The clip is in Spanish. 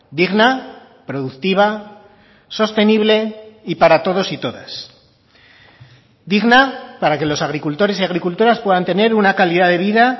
digna productiva sostenible y para todos y todas digna para que los agricultores y agricultoras puedan tener una calidad de vida